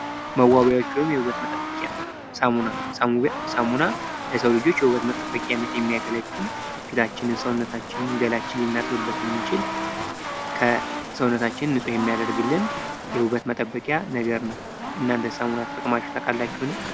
መዋቢያዎች ወይም የውበት መጠበቂያ ሳሙና ሳሙና ለሰው ልጆች ለውበት መጠበቅነት የሚያገለግል ፊታችንን፣ ሰውነታችንን፣ ገላችንን ልናጥብበት የምንችል ሰውነታችንን ንፁ የሚያደርግልን ውበት መጠበቂያው ነገር ነው። እናንተስ ሳሙና ተጠቅማችሁ ታውቃላችሁእን?